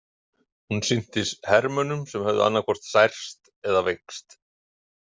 Hún sinnti hermönnum sem höfðu annaðhvort særst eða veikst.